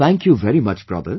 Thank you very much brother